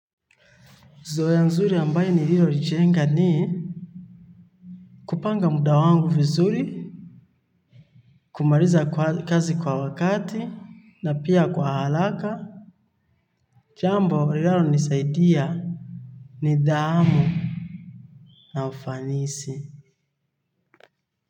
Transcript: Zo ya nzuri ambaye niliyolichenga ni kupanga muda wangu vizuri. Kumaliza kazi kwa wakati na pia kwa haraka. Jambo linalo nisaidia Nidhamu Na ufanisi.